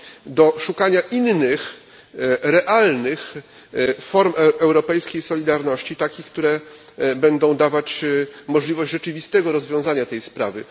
do szukania innych realnych form europejskiej solidarności, takich, które będą dawać możliwość rzeczywistego rozwiązania tej sprawy.